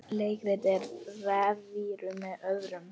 Leikrit og revíur með öðrum